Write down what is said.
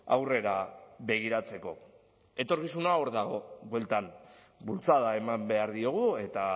aurrera begiratzeko etorkizuna hor dago bueltan bultzada eman behar diogu eta